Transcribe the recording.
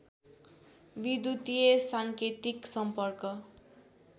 विद्युतीय साङ्केतिक सम्पर्क